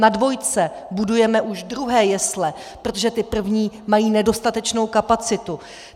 Na dvojce budujeme už druhé jesle, protože ty první mají nedostatečnou kapacitu.